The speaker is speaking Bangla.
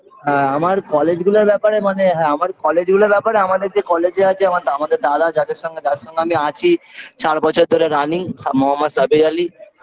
হ্যাঁ আমার college -গুলার ব্যাপারে মানে হ্যাঁ আমার college -গুলার ব্যাপারে আমাদের যে college -এ আছে আমার আমাদের দাদা যাদের সঙ্গে যার সঙ্গে আমি আছি চার বছর ধরে running সা মহম্মদ সাবির আলি